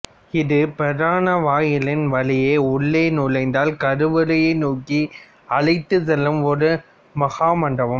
இந்தப் பிரதான வாயிலின் வழியே உள்ளே நுழைந்தால் கருவறையை நோக்கி அழைத்துச் செல்லும் ஒரு மகாமண்டபம்